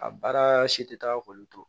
A baara si tɛ taa k'olu to